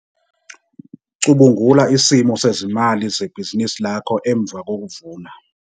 Cubungula isimo sezimali zebhizinisi lakho emva kokuvuna.